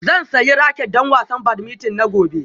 Zan sayi raket don wasan badminton na gobe